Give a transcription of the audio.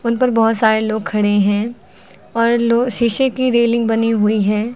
उनपर बहोत सारे लोग खड़े हैं और लो शीशे की रेलिंग बनी हुई है।